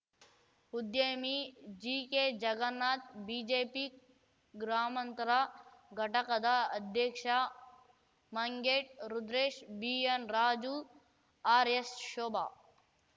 ಉದ್ಯಮಿ ಜೀಕೆ ಜಗನ್ನಾಥ್‌ ಬಿಜೆಪಿ ಗ್ರಾಮಾಂತರ ಘಟಕದ ಅಧ್ಯಕ್ಷ ಮಂಗೇಟ್‌ ರುದ್ರೇಶ್‌ ಬಿಎನ್‌ ರಾಜು ಆರ್‌ಎಸ್‌ ಶೋಭಾ